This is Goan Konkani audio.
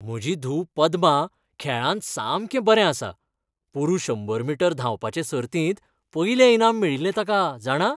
म्हजी धूव पद्मा खेळांत सामकें बरें आसा. पोरूं शंबर मीटर धांवपाचें सर्तींत पयलें इनाम मेळिल्लें ताका, जाणा.